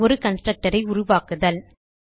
ஒரு கன்ஸ்ட்ரக்டர் ஐ உருவாக்குதல்